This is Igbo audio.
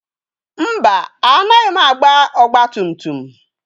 Mba, anaghị m agba ọgba tum tum.